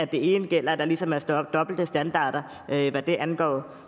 det ene gælder og der ligesom er dobbelte standarder hvad det angår